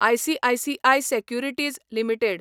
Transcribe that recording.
ICICI securities limited